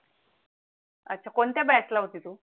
अच्छा कोणत्या batch ला होती तु